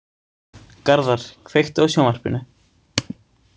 Garðar, kveiktu á sjónvarpinu.